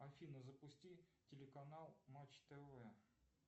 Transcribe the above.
афина запусти телеканал матч тв